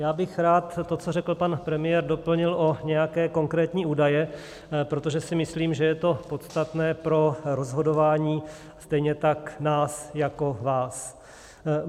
Já bych rád to, co řekl pan premiér, doplnil o nějaké konkrétní údaje, protože si myslím, že je to podstatné pro rozhodování stejně tak nás jako vás.